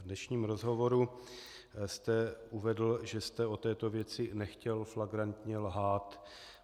V dnešním rozhovoru jste uvedl, že jste o této věci nechtěl flagrantně lhát.